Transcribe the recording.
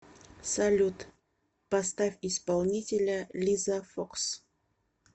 салют поставь исполнителя лиза фокс